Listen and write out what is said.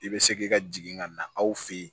I bɛ se ki ka jigin ka na aw fɛ yen